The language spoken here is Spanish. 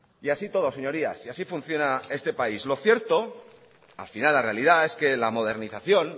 y así todo señorías y así funciona este país lo cierto al final la realidad es que la modernización